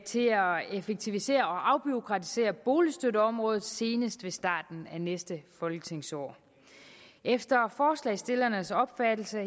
effektivisere og afbureaukratisere boligstøtteområdet senest ved starten af næste folketingsår efter forslagsstillernes opfattelse